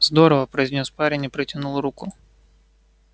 здорово произнёс парень и протянул руку